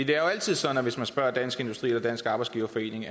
det er jo altid sådan at hvis man spørger dansk industri og dansk arbejdsgiverforening